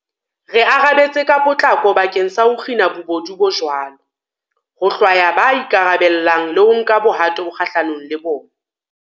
Re arabetse ka potlako bakeng sa ho kgina bobodu bo jwalo, ho hlwaya ba ikarabellang le ho nka bohato kgahlanong le bona.